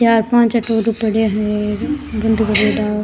चार पांच पड़या है बूंदी भरियोड़ा।